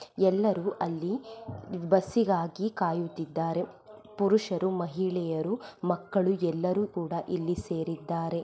ಎಲ್ಲರೂ ಅಲ್ಲಿ ಬಸ್ಗಾಗಿ ಕಾಯುತಿದೆ ಪುರುಷರು ಮಹಿಳೆಯರು ಮಕ್ಕಳು ಎಲ್ಲರು ಕೂಡ ಇಲ್ಲಿ ಸೇರಿದ್ದಾರೆ.